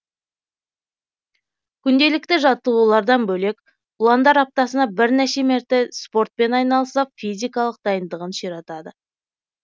күнделікті жаттығулардан бөлек ұландар аптасына бірнеше мәрте спортпен айналысып физикалық дайындығын ширатады